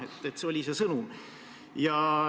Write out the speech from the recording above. See oli see sõnum.